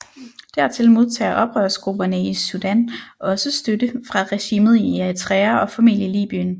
Dertil modtager oprørsgrupperne i Sudan også støtte fra regimet i Eritrea og formentlig Libyen